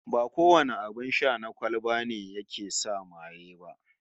Ba kowane abin sha na kwalba ne yake sa maye ba